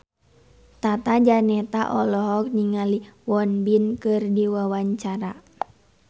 Tata Janeta olohok ningali Won Bin keur diwawancara